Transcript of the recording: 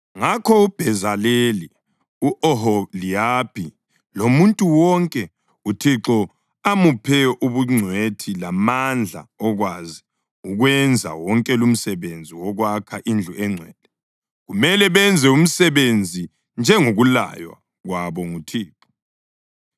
Ngakho uBhezaleli, u-Oholiyabhi lomuntu wonke uThixo amuphe ubungcwethi lamandla okwazi ukwenza wonke lumsebenzi wokwakha indlu engcwele, kumele benze umsebenzi njengokulaywa kwabo nguThixo.”